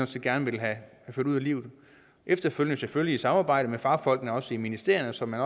set gerne ville have ført ud i livet efterfølgende selvfølgelig i samarbejde med fagfolkene også i ministerierne så man